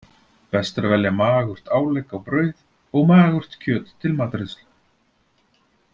Best er að velja magurt álegg á brauð og magurt kjöt til matreiðslu.